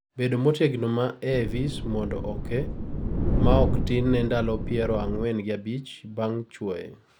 bedo motegno ma AIVs mondo oke; maok tin ne ndalo piero ang'uen gi abich bang' chuoye